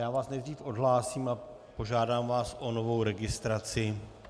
Já vás nejdříve odhlásím a požádám vás o novou registraci.